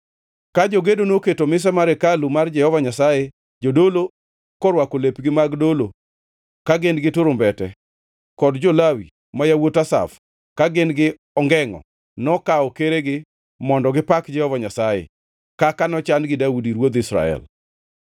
Ka jogedo noketo mise mar hekalu mar Jehova Nyasaye, jodolo korwako lepgi mag dolo ka gin gi turumbete, kod jo-Lawi (ma yawuot Asaf) ka gin-gi ongengʼo, nokawo keregi mondo gipak Jehova Nyasaye, kaka nochan gi Daudi ruodh Israel.